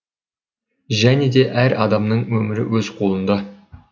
және де әр адамның өмірі өз қолында